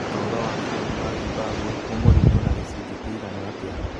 Ũtũũro wa bũrũri wa Zimbabwe nĩ mũritũ gĩcunjĩ kĩigana atĩa?